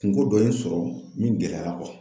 Kungo dɔ in sɔrɔ min gɛlɛyara